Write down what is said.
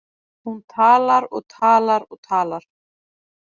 Hún talar og talar og talar.